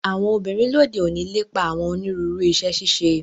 Àwọn obinrin lode oni lepa awọn oniruuru iṣẹ-ṣiṣe